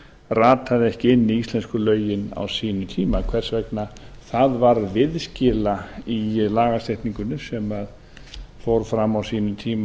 rataði ekki inn í íslensku lögin á sínum tíma hvers vegna það varð viðskila í lagasetningunni sem fór fram á sínum tíma